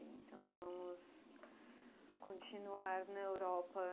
Bem, então vamos continuar na Europa.